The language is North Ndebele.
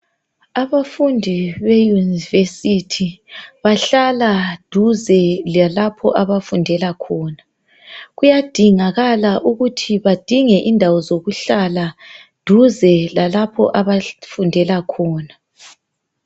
Abafundi be university bahlala duze lalapho abafundela khona kuyadingaka ukuthi badinge indawo zokuhlala duze lalapho abafundela khona